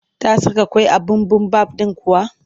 Ta saka ƙwai a bibimbaf ɗin kuwa?